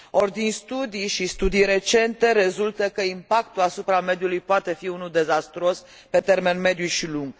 Or, din studii recente, rezultă că impactul asupra mediului poate fi unul dezastruos pe termen mediu și lung.